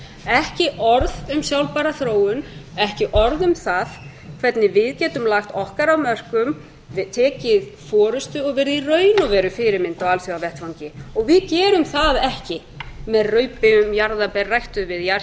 ekki orð um sjálfbæra þróun ekki orð um það hvernig við getum lagt okkar af mörkum tekið forustu og verið í raun og veru fyrirmynd á alþjóðavettvangi við gerum það ekki með raupi um jarðarber ræktuð